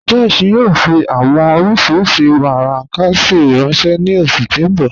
Josh yóò fí awọn oriṣí warankasi ranṣẹ ni oṣù tí n bọ́